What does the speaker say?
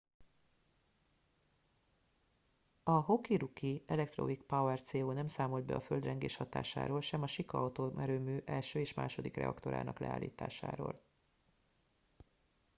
a hokuriku electric power co nem számolt be a földrengés hatásáról sem a shika atomerőmű 1. és 2. reaktorának leállításáról